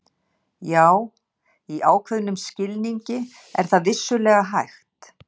Já, í ákveðnum skilningi er það vissulega hægt.